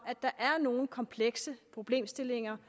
at nogle komplekse problemstillinger